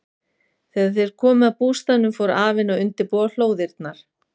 Þegar þeir komu að bústaðnum fór afinn að undirbúa hlóðirnar.